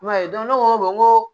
I m'a ye ne ko n ko n ko